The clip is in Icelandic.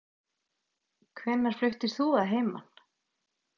Hvenær fluttir þú að heiman?